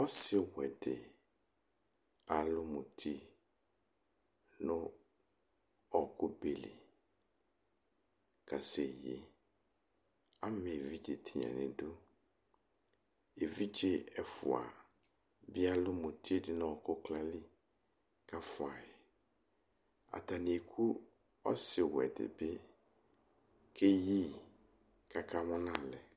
ɔsiwɛ dɩ, alʊ muti nʊ ɔkʊ be li kaseyi, ama evidze nʊ idu, evidze ɛfua bɩ alu muti dʊ nʊ ɔkʊ kla li kʊ afuayi, atanɩ eku ɔsiwɛ dɩbɩ kʊ eyi yi, kʊ akamʊ nʊ alɛ